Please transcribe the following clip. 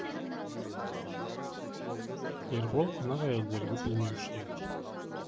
ербол қонақ әйелдерді білмеуші еді